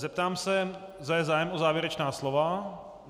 Zeptám se, zda je zájem o závěrečná slova.